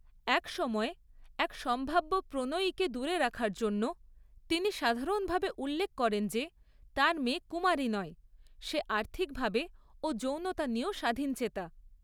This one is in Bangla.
এক সময়ে, এক সম্ভাব্য প্রণয়ীকে দূরে রাখার জন্য তিনি সাধারণভাবে উল্লেখ করেন যে তার মেয়ে কুমারী নয়; সে আর্থিকভাবে ও যৌনতা নিয়েও স্বাধীনচেতা।